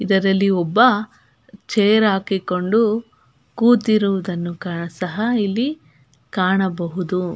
ಇದರಲ್ಲಿ ಒಬ್ಬ ಚೇರ್ ಹಾಕಿಕೊಂಡು ಕೂತಿರುವುದನ್ನು ಸಹ ಇಲ್ಲಿ ಕಾಣಬಹುದು.